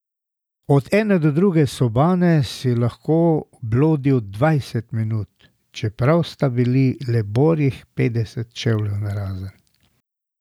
Od ene do druge sobane si lahko blodil dvajset minut, čeprav sta bili le borih petdeset čevljev narazen.